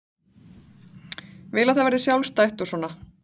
Vil að það verði sjálfstætt og svona.